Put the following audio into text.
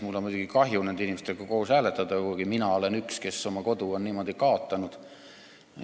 Mul on muidugi kahju nende inimestega ühtmoodi hääletada, kuigi mina olen üks, kes oma kodu on niimoodi kaotanud.